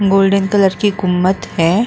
Golden colour की गुम्मत है।